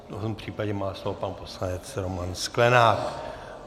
V tom případě má slovo pan poslanec Roman Sklenák.